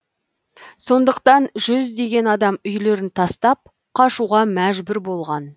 сондықтан жүздеген адам үйлерін тастап қашуға мәжбүр болған